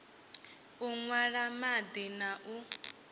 u nwa madi na u